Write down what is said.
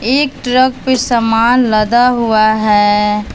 एक ट्रक पे सामान लदा आ है।